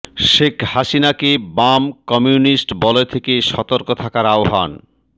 শেখ হাসিনাকে বাম কমিউনিস্ট বলয় থেকে সতর্ক থাকার আহ্বান